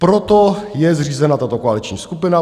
Proto je zřízena tato koaliční skupina.